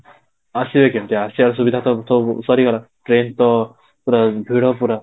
ଆସିବେ କେମିତି, ଆସିବାର ସୁବିଧା ତ ସବୁ ସରିଗଲା, ଟ୍ରେନ ତ ପୁରା ଭିଡ ପୁରା